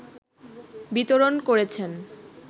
বিতরণ করেছেন